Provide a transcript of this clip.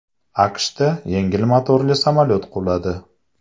AQShda yengil motorli samolyot quladi.